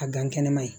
A gan kɛnɛma ye